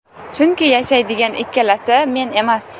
Chunki yashaydigan ikkalasi, men emas.